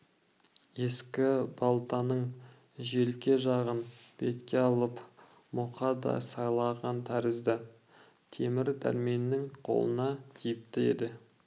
ескі балтаның желке жағын бетке алып мұқа да сайланған тәрізді темір дәрменнің қолына тиіпті енді